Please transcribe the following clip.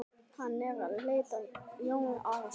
Hann leit á Jón Arason.